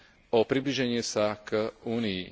o priblíženie sa k Únii.